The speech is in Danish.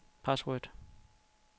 password